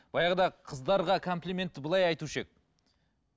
баяғыда қыздарға комплиментті былай айтушы едік